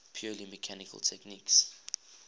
purely mechanical techniques